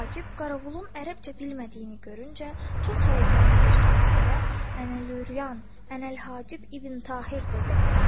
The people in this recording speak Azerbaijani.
Hacib Qaravulun ərəbcə bilmədiyini görüncə çox həyəcanlı bir surətdə ənəlyuryan, ənəlhacib ibn Tahir dedi.